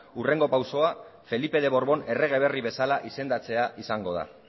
hurrengo pausua felipe de borbón errege berri bezala izendatzea izango da